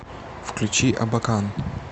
включи абакан